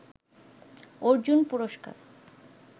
অর্জুন পুরস্কার